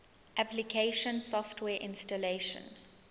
application software installation